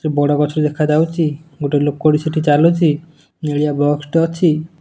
ବଡ ଗଛ ଟେ ଦେଖାଯାଉଚି ଗୋଟେ ଲୋକ ଟେ ସେଠି ଚାଲୁଚି ନେଳିଆ ବସ ଟେ ଅଛି।